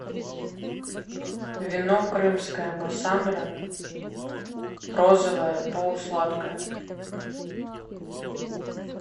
вино крымское массандра розовое полусладкое